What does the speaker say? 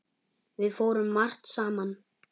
Við fórum margt saman.